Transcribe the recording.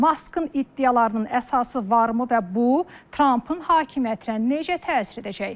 Maskın iddialarının əsası varmı və bu Trampın hakimiyyətinə necə təsir edəcək?